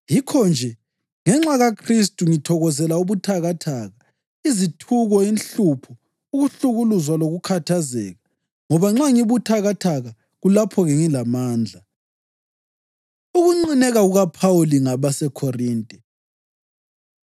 Yikho-nje, ngenxa kaKhristu, ngithokozela ubuthakathaka, izithuko, inhlupho, ukuhlukuluzwa lokukhathazeka. Ngoba nxa ngibuthakathaka, kulapho-ke ngilamandla. Ukunqineka KukaPhawuli NgabaseKhorinte